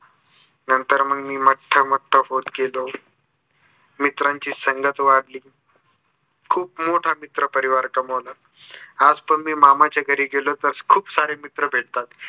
नंतर मग मी मट्ट मट्ट होत गेलो. मित्रांची संगत वाढली. खूप मोठा मित्र परिवार कमविला. आज जर मी मामाच्या घरी गेलो तर खूप सारे मित्र भेटतात.